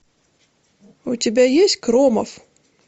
у тебя есть кромовъ